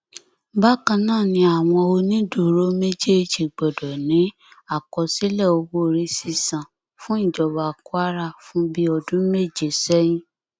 bákan náà ni àwọn onídùúró méjèèjì gbọdọ ní àkọsílẹ owóorí sísan fún ìjọba kwara fún bíi ọdún méje sẹyìn